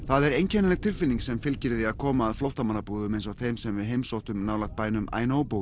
það er einkennileg tilfinning sem fylgir því að koma að flóttamannabúðum eins og þeim sem við heimsóttum nálægt bænum